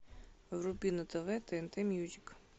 вруби на тв тнт мьюзик